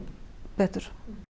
betur